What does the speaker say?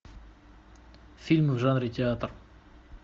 фильм в жанре театр